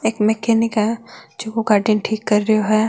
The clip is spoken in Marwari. एक मेकेनिक है जो गाड़ी न ठीक कर रेयो है।